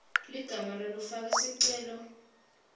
ligama lalofake sicelo